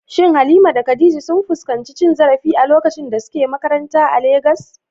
Shin Halima da Khadija sun fuskanci cin zarafi a lokacin da suke makaranta a Legas?